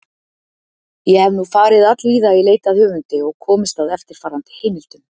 Ég hef nú farið allvíða í leit að höfundi og komist að eftirfarandi heimildum.